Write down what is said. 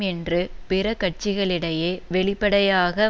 என்று பிற கட்சிகளிடையே வெளிப்படையாக